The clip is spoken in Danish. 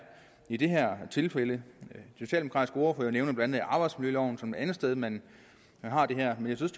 i det her tilfælde den socialdemokratiske ordfører nævner blandt andet arbejdsmiljøloven som et andet sted man har det her men jeg synes